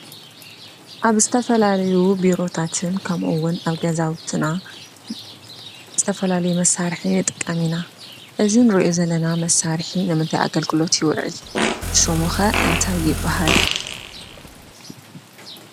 ኣብ ዝተፈላለዩ ቢሮታትን ከምኡ እዉን ኣብ ገዛውትና ዝተፈላለዩ መሳርሒ ንጥቀም ኢና:: እዚ ንሪኦ ዘለና መሳርሒ ንምንታይ ኣገልግሎት ይውዕል ሽሙ ከ እንታይ ይበሃል ?